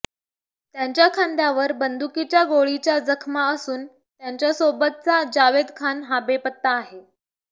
त्याच्या खांद्यावर बंदुकीच्या गोळीच्या जखमा असून त्यांच्यासोबतचा जावेद खान हा बेपत्ता आहे